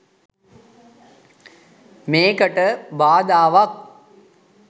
මේකට බාධාවක්.